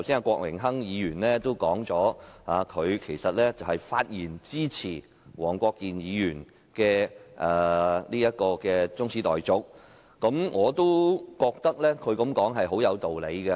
郭榮鏗議員剛才提到，他發言支持黃國健議員的中止待續議案，我覺得他的說法很有道理。